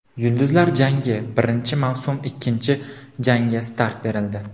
"Yulduzlar jangi": birinchi mavsum ikkinchi janga start berildi.